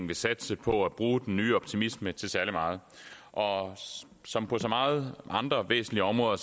vil satse på at bruge den nye optimisme til særlig meget og som på så mange andre væsentlige områder